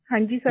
हाँजी सर